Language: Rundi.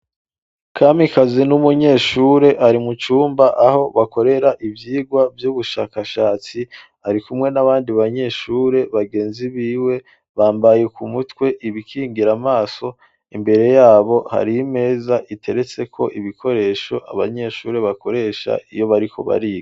Kamikazi n'umunyeshure ari mucumba aho bakorera ivyirwa vy'ubushakashatsi ari kumwe n'abandi banyeshure bagenzi biwe bambaye ku mutwe ibikingira amaso imbere yabo hari imeza iteretse ko ibikoresho abanyeshure bakoresha iyo bariko bariga.